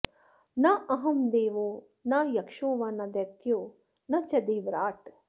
नाहं देवो न यक्षो वा न दैत्यो न च देवराट्